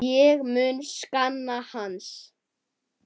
Ég mun sakna hans.